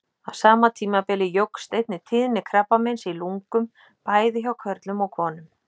Á sama tímabili jókst einnig tíðni krabbameins í lungum, bæði hjá körlum og konum.